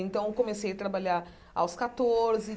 Então, eu comecei a trabalhar aos catorze.